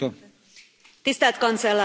Tisztelt Kancellár Asszony!